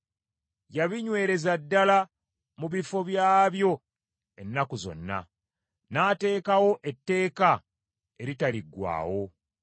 Yabinywereza ddala mu bifo byabyo ennaku zonna, n’ateekawo etteeka eritaliggwaawo.